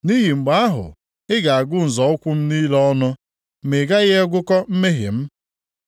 Nʼihi mgbe ahụ ị ga-agụ nzọ ụkwụ m niile ọnụ, ma ị gaghị agụkọ mmehie m.